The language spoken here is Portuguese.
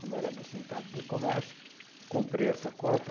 Como era do sindicato do comércio, comprei essa cota,